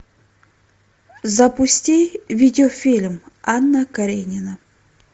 запусти видеофильм анна каренина